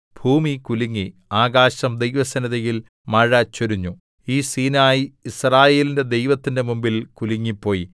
ഭൂമി കുലുങ്ങി ആകാശം ദൈവസന്നിധിയിൽ മഴ ചൊരിഞ്ഞു ഈ സീനായി യിസ്രായേലിന്റെ ദൈവത്തിന്റെ മുമ്പിൽ കുലുങ്ങിപ്പോയി